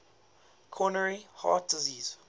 coronary heart disease